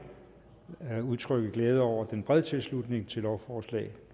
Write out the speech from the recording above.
udtrykke glæde over den brede tilslutning til lovforslag